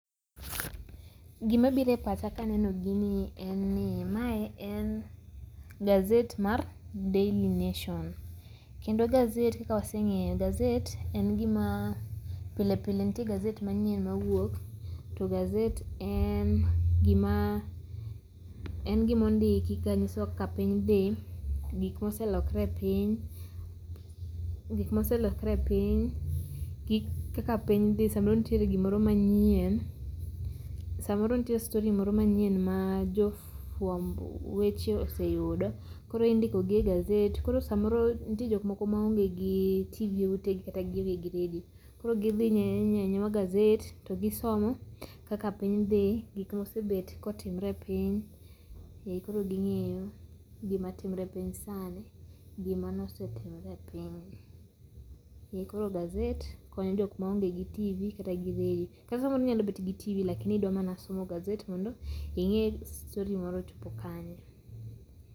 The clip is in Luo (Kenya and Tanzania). Gimabiro e pacha ka aneno gini en ni mae en gazet mar Daily Nation kendo gazet kaka wasenge'yo gazet en gima , pile pile nitie gazet manyien mawuok, to gazet en gima ondiki kanyisowa kaka piny thi gik ma oselokore piny ngik ma oselokre piny kaka piny thi samoro nitiere gimoro manyien samoro nitie story moro manyien ma jo fuambo weche oseyudo koro indikogi e gazet ,koro samoro nitie jok moko ma onge gi [csTv gi e wutegi kata gionge gi radio koro gi thi nyiewo anyiewa gazet to gisomo kaka piny thi gik ma osebet kotimre e piny ee koro gingeyo gima timore e piny sani gimano osetimre piny. Koro gazet konyo jok ma onge gi TV kata gi radio ka samoro inya bet gi TV l akini idwa mana somo gazet mondo inge' story moro ochopo kanye